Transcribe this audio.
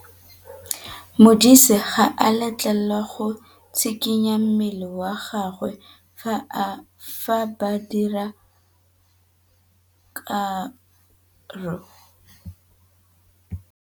Modise ga a letlelelwa go tshikinya mmele wa gagwe fa ba dira karô.